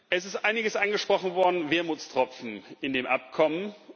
Es ist einiges angesprochen worden an Wermutstropfen in dem Abkommen.